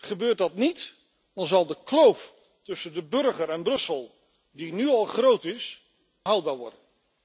Gebeurt dat niet, dan zal de kloof tussen de burger en Brussel, die nu al groot is, onhoudbaar worden.